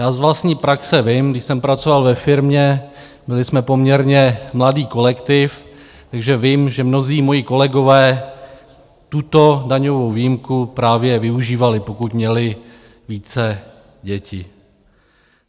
Já z vlastní praxe vím, když jsem pracoval ve firmě, byli jsme poměrně mladý kolektiv, takže vím, že mnozí moji kolegové tuto daňovou výjimku právě využívali, pokud měli více děti.